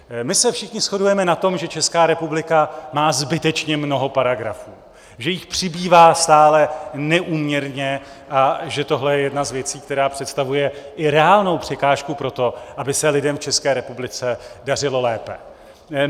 My se všichni shodujeme na tom, že Česká republika má zbytečně mnoho paragrafů, že jich přibývá stále neúměrně a že tohle je jedna z věcí, která představuje i reálnou překážku pro to, aby se lidem v České republice dařilo lépe.